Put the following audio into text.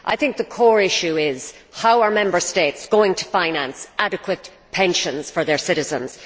I think the core issue is how are Member States going to finance adequate pensions for their citizens?